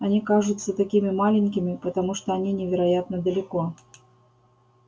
они кажутся такими маленькими потому что они невероятно далеко